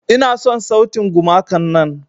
Ina son sautin gumakan nan.